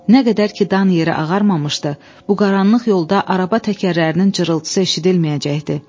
Nə qədər ki dan yeri ağarmamışdı, bu qaranlıq yolda araba təkərlərinin cırıltısı eşidilməyəcəkdi.